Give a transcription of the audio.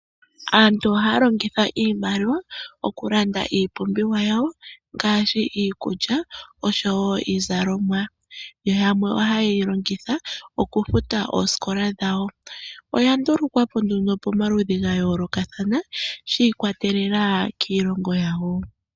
Aantu ohaya longitha iimaliwa oku landa iipumbiwa yawo ngaashi iikulya oshowo iizalomwa, yo yamwe oha yeyi longitha oku futa oosikola dhawo. Oya ndulukwapo nduno pamaludhi ga yoolokathana shi ikwatelela kiilongo yawo.